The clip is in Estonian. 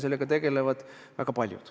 Sellega tegelevad väga paljud.